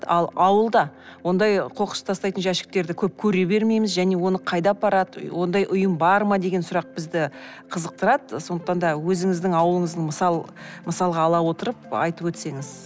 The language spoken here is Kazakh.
ал ауылда ондай қоқыс тастайтын жәшіктерді көп көре бермейміз және оны қайда апарады ондай ұйым бар ма деген сұрақ бізді қызықтырады ы сондықтан да өзіңіздің ауылыңыздың мысалға ала отырып айтып өтсеңіз